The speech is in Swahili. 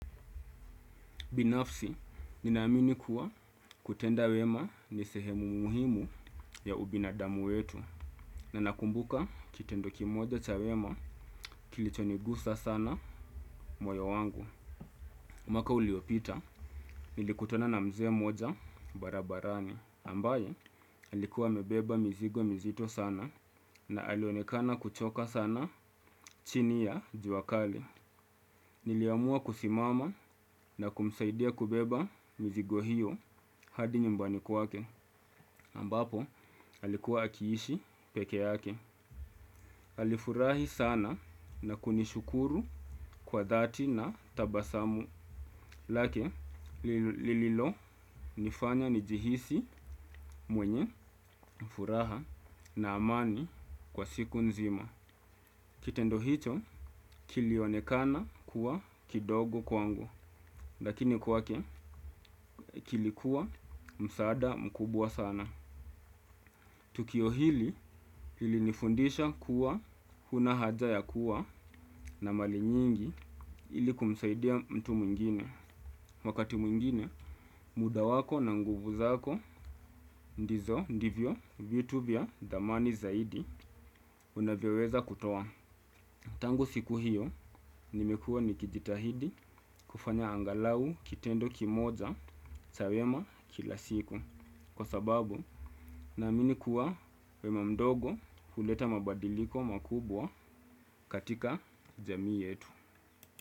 Binafsi, ninaamini kuwa kutenda wema ni sehemu muhimu ya ubinadamu wetu. Na nakumbuka kitendo kimoja cha wema kilichonigusa sana moyo wangu. Mwaka uliopita, nilikutana na mzee mmoja barabarani. Ambaye, alikuwa amebeba mizigo mizito sana na alionekana kuchoka sana chini ya jua kali. Niliamua kusimama na kumsaidia kubeba mizigo hiyo hadi nyumbani kwake, ambapo alikuwa akiishi peke yake. Alifurahi sana na kunishukuru kwa dhati na tabasamu, lake lililo nifanya nijihisi mwenye furaha na amani kwa siku nzima. Kitendo hicho kilionekana kuwa kidogo kwangu, lakini kwake kilikuwa msaada mkubwa sana. Tukio hili ili nifundisha kuwa huna haja ya kuwa na mali nyingi ili kumsaidia mtu mwingine. Wakati mwingine, muda wako na nguvu zako ndizo ndivyo YouTube ya thamani zaidi unavyeweza kutowa. Tangu siku hiyo nimekua nikijitahidi kufanya angalau kitendo kimoja cha wema kila siku kwa sababu na amini kuwa wema mdogo huleta mabadiliko makubwa katika jamii yetu.